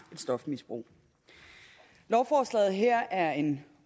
et stofmisbrug lovforslaget her er en